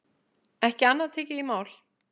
Ekki annað tekið í mál.